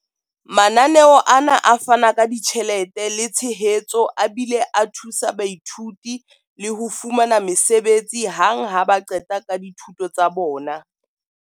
Mananeo ana a fana ka ditjhelete le tshehetso a bile a thusa baithuti le ho fumana mesebetsi hang ha ba qeta ka dithuto tsa bona.